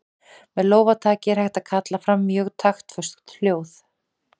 Með lófataki er hægt að kalla fram mjög taktföst hljóð.